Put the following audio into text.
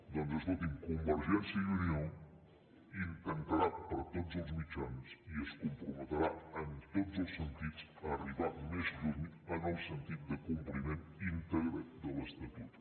doncs escolti’m convergència i unió intentarà per tots els mitjans i es comprometrà en tots els sentits a arribar més lluny en el sentit de compliment íntegre de l’estatut